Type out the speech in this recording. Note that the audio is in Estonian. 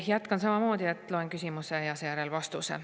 Jätkan samamoodi, et loen küsimuse ette ja seejärel vastuse.